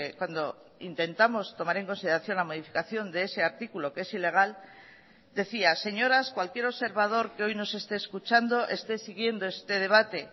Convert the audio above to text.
cuando intentamos tomar en consideración la modificación de ese artículo que es ilegal decía señoras cualquier observador que hoy nos esté escuchando esté siguiendo este debate